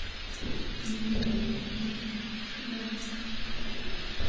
мне нужен косметический набор